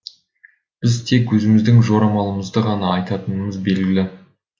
біз тек өзіміздің жорамалымызды ғана айтатынымыз белгілі